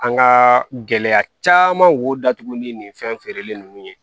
An ka gɛlɛya caman b'o datugu ni nin fɛn feereli nunnu ye